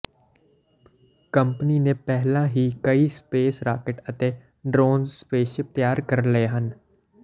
company ਨੇ ਪਹਿਲਾਂ ਹੀ ਕਈ ਸਪੇਸ ਰਾਕੇਟ ਅਤੇ ਡਰੋਜਨ ਸਪੇਸਸ਼ਿਪ ਤਿਆਰ ਕਰ ਲਈ ਹੈ